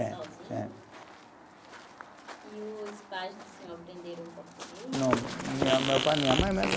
É. Sozinho. É. E os pais do senhor aprenderam o português? Não, minha, meu pai e minha mãe